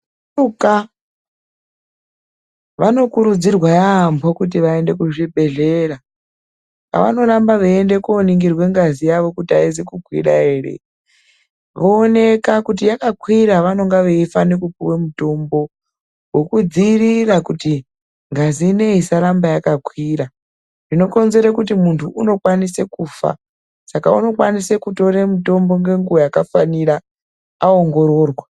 Vasharuka vanokurudzirwa yaambo kuti vaende kuzvibhedhlera, kwevanoramba veiende kooningirwe ngazi yavo kuti aizi kukwira ere. Zvooneka, kuti yakakwira vanonga veifane kupuwa mutombo, wokudziirira kuti ngazi inei isaramba yakakwira. Zvinokonzere kuti muntu unokwanise kufa. Saka unokwanise kutore mutombo ngenguwa yakafanira, aongororwa.